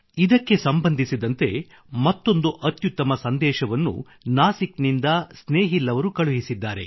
ಇದಕ್ಕೆ ಸಂಬಂಧಿಸಿದ ಮತ್ತೊಂದು ಅತ್ಯುತ್ತಮ ಸಂದೇಶವನ್ನು ನಾಸಿಕ್ ನಿಂದ ಸ್ನೇಹಿಲ್ ಅವರು ಕಳುಹಿಸಿದ್ದಾರೆ